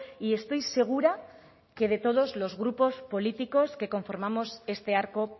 y estoy segura que de todos los grupos políticos que conformamos este arco